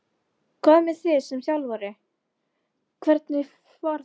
Hvað með þig sem þjálfara, hvernig var ferðin?